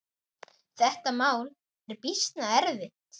Þetta mál er býsna erfitt.